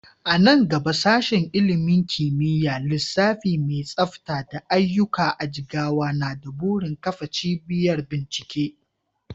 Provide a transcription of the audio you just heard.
A nan gaba Sashen ilimin kimiyyar lissafi mai tsafta da aiyuka a Jigawa na da burin kafa cibiyar bincike.